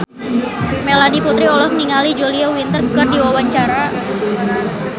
Melanie Putri olohok ningali Julia Winter keur diwawancara